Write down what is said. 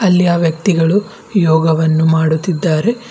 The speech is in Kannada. ಅಲ್ಲಿ ಆ ವ್ಯಕ್ತಿಗಳು ಯೋಗವನ್ನು ಮಾಡುತ್ತೀದ್ದಾರೆ.